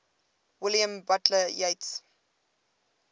william butler yeats